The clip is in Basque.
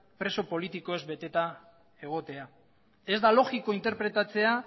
preso politikoz beteta egotea ez da logikoa interpretatzea